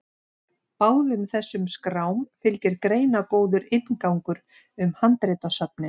Báðum þessum skrám fylgir greinargóður inngangur um handritasöfnin.